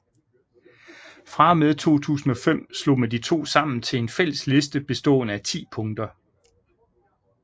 Fra og med 2005 slog man de to sammen til en fælles liste bestående af 10 punkter